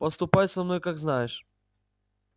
поступай со мной как знаешь